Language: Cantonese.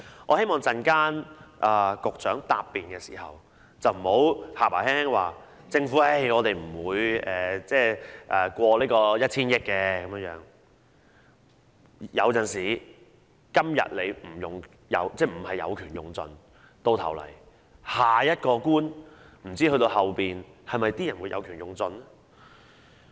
我希望局長稍後答辯時不要口輕輕的說"政府不會借款超出 1,000 億元的"，有時候即使局長今天有權沒有盡用，但不知下一個官員會否有權盡用。